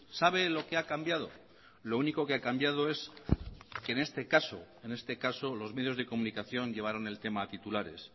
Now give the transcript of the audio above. sabe lo que ha cambiado lo único que ha cambiado es que en este caso en este caso los medios de comunicación llevaron el tema a titulares